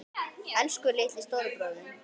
Elsku litli, stóri bróðir minn.